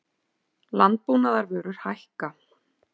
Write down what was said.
Landbúnaðarvörur hækka